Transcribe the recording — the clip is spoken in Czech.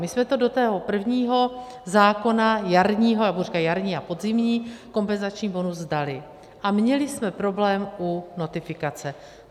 My jsme to do toho prvního zákona jarního - já budu říkat jarní a podzimní kompenzační bonus - dali a měli jsme problém u notifikace.